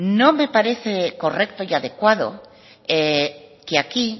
no me parece correcto y adecuado que aquí